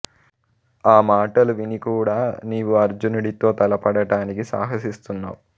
ఆ మాటలు విని కూడా నీవు అర్జునుడితో తలపడటానికి సాహసిస్తున్నావు